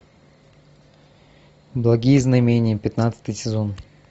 благие знамения пятнадцатый сезон